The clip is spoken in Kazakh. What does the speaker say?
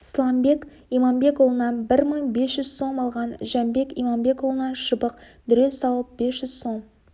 сламбек иманбекұлынан бір мың бес жүз сом алған жәмбек иманбекұлынан шыбық дүре салып бес жүз сом